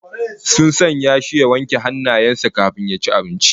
Sun sanya shi ya wanke hannayen sa kafin ya ci abincin